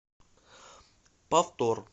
повтор